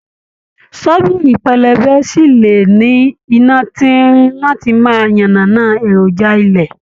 Ṣọ́bìrì pẹlẹbẹ sí lè ní iná tín-ín-rín láti máa yànnànán an èròjà ilẹ̀.